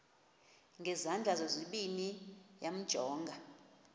ngezandla zozibini yamjonga